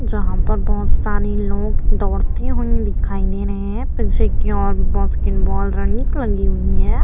जहां पर बोहोत सारी लोग दौड़ते हुए दिखाई दे रहे हैं। बास्केटबॉल रनिंग लगी हुई है।